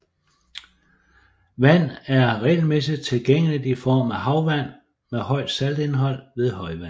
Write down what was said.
Vand er regelmæssigt tilgængeligt i form af havvand med højt saltindhold ved højvande